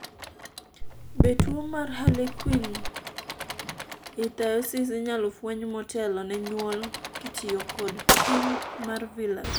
be tuo mar Harlequin ichthyosis inyalo fweny motelo ne nyuol kitiyo kod pim mar Villus